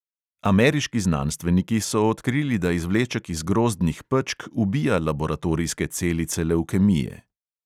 Ameriški znanstveniki so odkrili, da izvleček iz grozdnih pečk ubija laboratorijske celice levkemije.